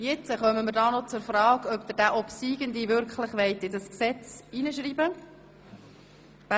Wir kommen noch zur Frage, ob Sie den obsiegenden Antrag wirklich in das Gesetz schreiben wollen.